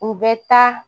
U bɛ taa